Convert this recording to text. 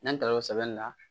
N'an taara o sɛbɛnni na